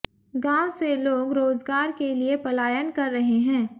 गांव से लोग रोजगार के लिए पलायन कर रहे हैें